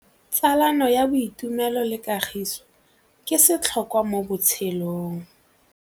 Tsalano ya boitumelo le kagiso ke setlhôkwa mo botshelong.